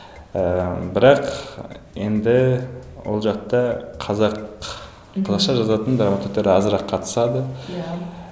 ыыы бірақ енді ол жақта қазақ қазақша жазатын драматургтер азырақ қатысады иә